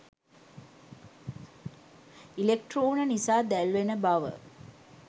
ඉලෙක්ට්‍රෝන නිසා දැල්වෙන බව